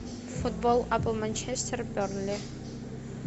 футбол апл манчестер бернли